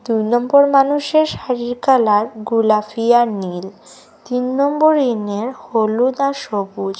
দুই নম্বর মানুষের শাড়ির কালার গোলাফি আর নীল তিন নম্বর ইনের হলুদ আর সবুজ।